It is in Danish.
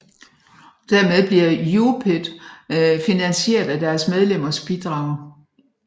Dermed bliver UPyD finansieret af deres medlemmers bidrag